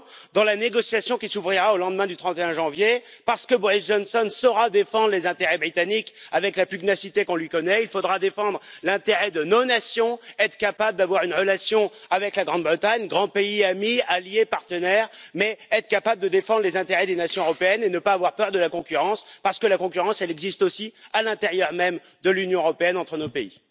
Dans la négociation qui s'ouvrira au lendemain du 31 janvier, parce que Boris Johnson saura défendre les intérêts britanniques avec la pugnacité qu'on lui connaît, il faudra défendre l'intérêt de nos nations, être capables d'avoir une relation avec la Grande Bretagne, grand pays ami, allié, partenaire, mais aussi être capables de défendre les intérêts des nations européennes et ne pas avoir peur de la concurrence, parce que la concurrence existe aussi à l'intérieur même de l'Union européenne, entre nos pays.